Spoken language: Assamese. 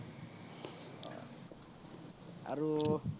আৰু